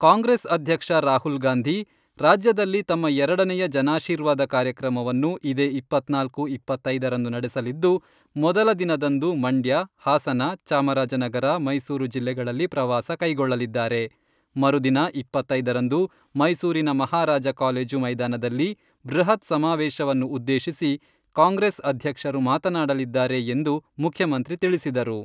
ಕಾಂಗ್ರೆಸ್ ಅಧ್ಯಕ್ಷ ರಾಹುಲ್ಗಾಂಧಿ, ರಾಜ್ಯದಲ್ಲಿ ತಮ್ಮ ಎರಡನೆಯ ಜನಾಶೀರ್ವಾದ ಕಾರ್ಯಕ್ರಮವನ್ನು ಇದೇ ಇಪ್ಪತ್ನಾಲ್ಕು, ಇಪ್ಪತ್ತೈದರಂದು ನಡೆಸಲಿದ್ದು, ಮೊದಲ ದಿನದಂದು ಮಂಡ್ಯ, ಹಾಸನ, ಚಾಮರಾಜನಗರ, ಮೈಸೂರು ಜಿಲ್ಲೆಗಳಲ್ಲಿ ಪ್ರವಾಸ ಕೈಗೊಳ್ಳಲಿದ್ದಾರೆ, ಮರುದಿನ ಇಪ್ಪತ್ತೈದರಂದು ಮೈಸೂರಿನ ಮಹಾರಾಜ ಕಾಲೇಜು ಮೈದಾನದಲ್ಲಿ, ಬೃಹತ್ ಸಮಾವೇಶವನ್ನು ಉದ್ದೇಶಿಸಿ ಕಾಂಗ್ರೆಸ್ ಅಧ್ಯಕ್ಷರು ಮಾತನಾಡಲಿದ್ದಾರೆ ಎಂದು ಮುಖ್ಯಮಂತ್ರಿ ತಿಳಿಸಿದರು.